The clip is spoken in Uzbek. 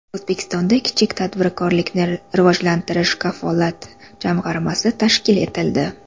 O‘zbekistonda Kichik tadbirkorlikni rivojlantirish kafolat jamg‘armasi tashkil etildi.